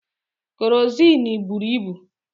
Kerọsinụ bụrụ ibu.